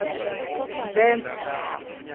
mbhense